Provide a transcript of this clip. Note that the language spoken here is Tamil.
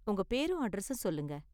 உங்க பேரும் அட்ரஸும் சொல்லுங்க.